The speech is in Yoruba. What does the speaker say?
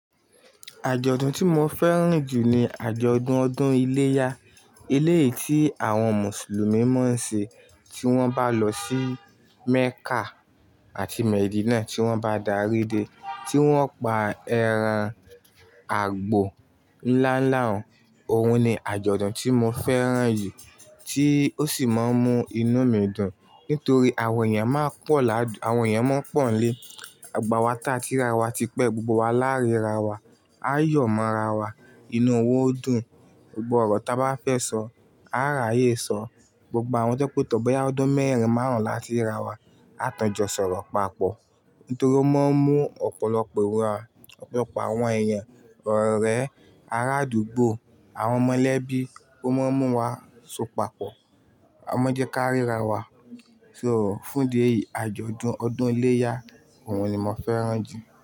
Àjọ̀dún tí mo fẹ́ràn jù ni àjọ̀dún ọdún iléyá. Ilé yìí tí àwọn Mùsùlùmí máa ń ṣe tí wọ́n bá lọ sí Mẹ́kà àti Medinà, tí wọ́n bá darí dé, tí wọ́n pa ẹran àgbò ńlá ńlá, òun ni àjọ̀dún tí mo fẹ́ràn yìí tí ó sì máa ń mú inú mi dùn nítorí àwọn èèyàn máa pọ̀ ládùn, àwọn èèyàn máa pọ̀ n lé, gbogbo wa tá ti ri ra wa tipẹ́ gbogbo wa lá'ríra wa, á yọ̀ mọ́ ra wa. Inú wa o dùn, gbogbo ọ̀rọ̀ tá bá fẹ́ sọ, a á ráyè sọ. Gbogbo àwọn tó je pé tọ̀ booya ọdún mẹ́rin márùn-ún láti rí ra wa, a tun jọ sọ̀rọ̀ papọ̀. Nítorí ó máa ń mú ọ̀pọ̀lọpọ̀ wà, ọ̀pọ̀lọpọ̀ àwọn èèyan, orẹ̀, ará àdúgbò, àwọn ọmọ elẹ́bí, ó máa ń mú wa so papọ̀. Ọmọjé káríra wa. So fún idi èyí, àjọ̀dún ọdún iléyá òun ni mo fẹ́ràn jù.